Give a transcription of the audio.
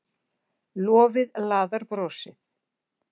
Lofið laðar brosið.